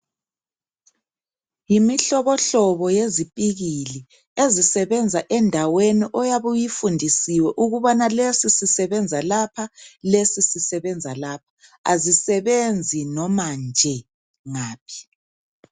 Yimihlobohlobo yezipikili ezisebenza endaweni oyabu 'yifundisiwe ukubana lesi sisebenza lapha lesi sisebenza lapha azisebenzi noma nje ngaphi